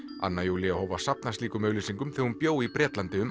anna Júlía hóf að safna slíkum auglýsingum þegar hún bjó í Bretlandi um